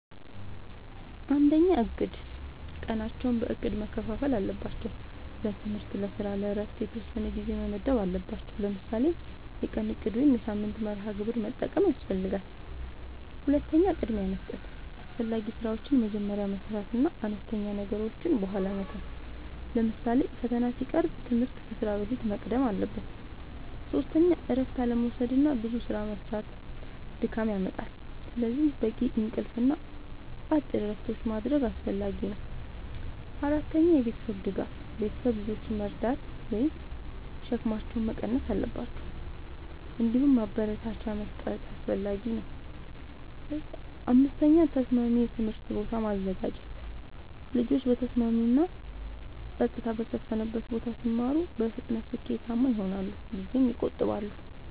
፩. እቅድ፦ ቀናቸውን በእቅድ መከፋፈል አለባቸው። ለትምህርት፣ ለስራ እና ለእረፍት የተወሰነ ጊዜ መመደብ አለባቸዉ። ለምሳሌ የቀን እቅድ ወይም የሳምንት መርሃ ግብር መጠቀም ያስፈልጋል። ፪. ቅድሚያ መስጠት፦ አስፈላጊ ስራዎችን መጀመሪያ መስራት እና አነስተኛ ነገሮችን በኋላ መተው። ለምሳሌ ፈተና ሲቀርብ ትምህርት ከስራ በፊት መቅደም አለበት። ፫. እረፍት አለመዉሰድና ብዙ ስራ መስራት ድካም ያመጣል። ስለዚህ በቂ እንቅልፍ እና አጭር እረፍቶች ማድረግ አስፈላጊ ነው። ፬. የቤተሰብ ድጋፍ፦ ቤተሰብ ልጆችን መርዳት ወይም ሸክማቸውን መቀነስ አለባቸው። እንዲሁም ማበረታቻ መስጠት አስፈላጊ ነው። ፭. ተስማሚ የትምህርት ቦታ ማዘጋጀት፦ ልጆች በተስማሚ እና ጸጥታ በሰፈነበት ቦታ ሲማሩ በፍጥነት ስኬታማ ይሆናሉ ጊዜም ይቆጥባሉ።